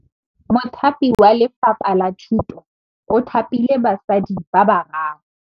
Mothapi wa Lefapha la Thutô o thapile basadi ba ba raro.